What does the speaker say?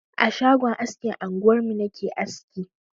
A shagon askin anguwarmu na ke aski.